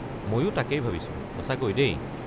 মইও তাকেই ভাবিছো, সঁচাকৈ দেই।